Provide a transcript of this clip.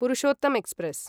Purushottam express